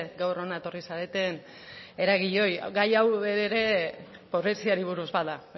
gaur hona etorri zareten eragileei gai hau ere pobreziari buruz bada